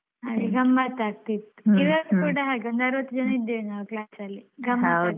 ಹಾಗೆ ಗಮ್ಮತ್ ಆಗ್ತಿತ್ತು. ಈವಾಗ ಕೂಡ ಹಾಗೆ ಒಂದು ಅರ್ವತ್ತು ಜನ ಇದ್ದೇವೆ ನಾವ್ class ಅಲ್ಲಿ ಗಮ್ಮತ್ ಆಗ್ತದೆ.